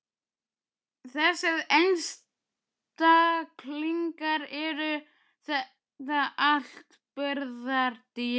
Þessir einstaklingar, eru þetta allt burðardýr?